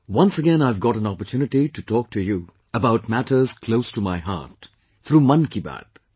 Once again I have got an opportunity to talk to you about matters close to my heart, through 'Mann Ki Baat'